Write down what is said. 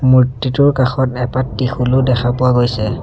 মূৰ্ত্তিটোৰ কাষত এপাট ত্ৰিশূলও দেখা পোৱা গৈছে।